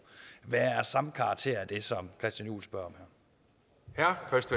være af samme karakter af det som christian juhl spørger